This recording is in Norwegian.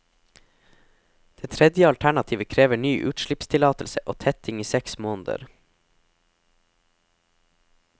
Det tredje alternativet krever ny utslippstillatelse og tetting i seks måneder.